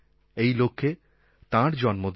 এই লক্ষ্যে তাঁর জন্মদিন